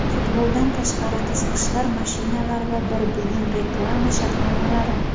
Futboldan tashqari qiziqishlar, mashinalar va bir uyum reklama shartnomalari.